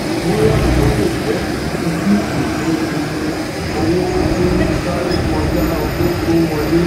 bóyá o lé jẹ ìdí tí ìpín iye owó n sáré koja owó tó n wọlé